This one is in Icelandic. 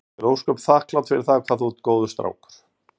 Ég er ósköp þakklát fyrir það hvað þú ert góður strákur.